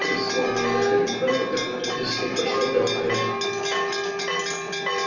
три сломанных ребра и по крайней мере одно из них прошло в лёгкое